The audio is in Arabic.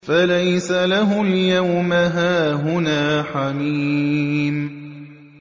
فَلَيْسَ لَهُ الْيَوْمَ هَاهُنَا حَمِيمٌ